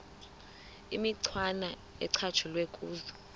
imicwana ecatshulwe kuzo